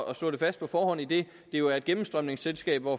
at slå det fast på forhånd idet det jo er et gennemstrømningsselskab hvor